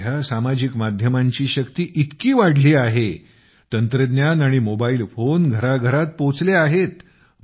आजकाल सामाजिक माध्यमांची शक्ती इतकी वाढली आहे तंत्रज्ञान आणि मोबाईल फोन घरा घरात पोहोचले आहेत